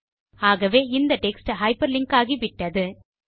ஆகவே இந்த text hyperlink ஆகிவிட்டது